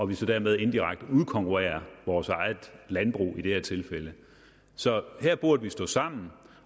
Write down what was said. vi så dermed indirekte udkonkurrerer vores eget landbrug i det her tilfælde så her burde vi stå sammen